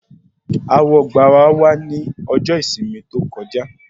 Awọgbà wà ní ọjọ ìsinmi tí ó kọjá